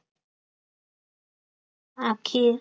आखेर